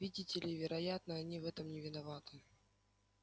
видите ли вероятно они в этом не виноваты